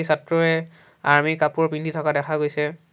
ছাত্ৰয়ে army কাপোৰ পিন্ধি থকা দেখা গৈছে।